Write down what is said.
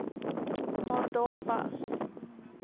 maar daar was